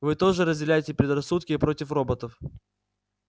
вы тоже разделяете предрассудки против роботов